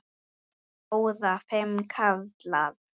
Þóra: Fimm karlar?